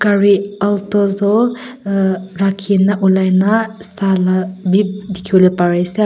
gari alto tu rakhikina ulai kina sala map dekhibole parise ase.